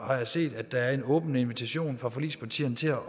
har jeg set at der er en åben invitation fra forligspartierne til at